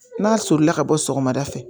N'a solila ka bɔ sɔgɔmada fɛ